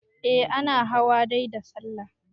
eh ana hawa dai da sallah